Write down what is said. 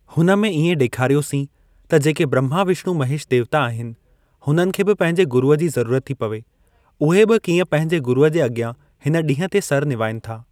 हुन में इएं ॾेखारियोसीं त जेके ब्रम्हा विष्णु महेश देवता आहिनि हुननि खे बि पंहिंजे गुरुअ जी ज़रूरत थी पवे, ऊहे बि कीअं पंहिंजे गुरूअ जे अॻियां हिन ॾींहुं ते सिर निवाइनि था।